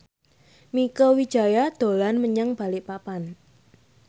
Mieke Wijaya dolan menyang Balikpapan